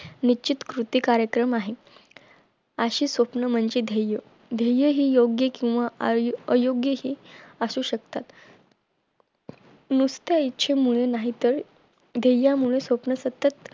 निश्चित कृती कार्यक्रम आहे अशी स्वप्न म्हणजे ध्येय ध्येय हे योग्य किंवा अयोग्य हे असू शकतात नुसता इच्छे मुळे नाही तर ध्येय मुळे स्वप्न सतत